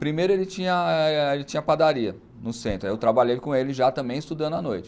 Primeiro ele tinha ele tinha padaria no centro, aí eu trabalhei com ele já também estudando à noite.